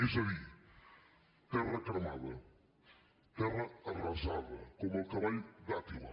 és a dir terra cremada terra arrasada com el cavall d’àtila